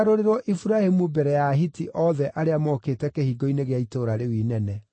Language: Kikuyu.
Iburahĩmu mbere ya Ahiti othe arĩa mookĩte kĩhingo-inĩ gĩa itũũra rĩu inene.